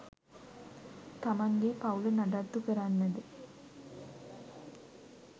තමන්ගේ පවුල නඩත්තු කරන්නද